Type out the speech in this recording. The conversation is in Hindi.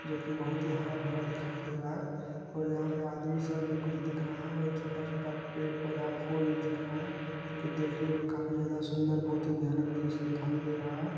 जो कि बहोत ही हरा-भरा दिखाई दे रहा है और यहाँ पे आदमी सब भी कुछ दिख रहा है और छोटा-छोटा पेड़-पौधा फूल दिख रहा है जो कि देखने में काफी ज्यादा सुंदर बहोत ही भयानक दृश्य दिखाई दे रहा है।